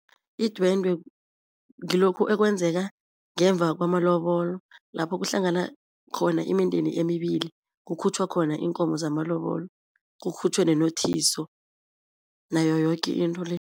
Idwendwe ngilokhu ekwenzeka ngemva kwama lobolo lapho kuhlangana khona imindeni emibili, kukhutjhwa khona iinkomo zamalobolo, kukhutjhwe nenothiso nayo yoke into le.